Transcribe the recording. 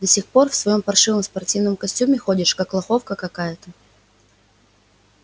до сих пор в своём паршивом спортивном костюме ходишь как лоховка какая-то